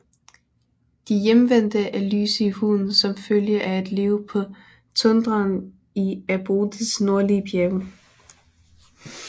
De Hjemvendte er lyse i huden som følge af at leve på tundraen i Abodes nordlige bjerge